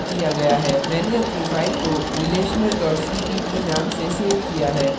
मैंने अपनी file को relational cpp नाम से सेव किया है